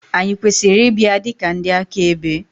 Ànyị kwesịrị ịbịa dị ka ndị akaebe?